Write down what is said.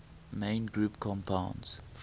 main group compounds